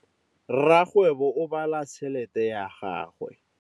Rakgwêbô o bala tšheletê ya gagwe.